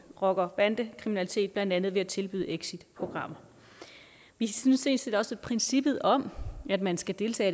rocker bande kriminalitet blandt andet ved at tilbyde exitprogrammer vi synes sådan set også at princippet om at man skal deltage